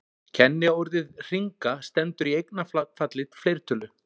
Kenniorðið hringa stendur í eignarfalli fleirtölu.